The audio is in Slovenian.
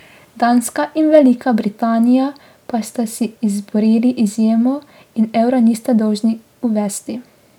Danska in Velika Britanija pa sta si izborili izjemo in evra nista dolžni uvesti.